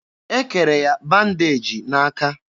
E kere ya bandeji n'aka.